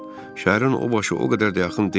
Şəhərin o başı o qədər də yaxın deyil.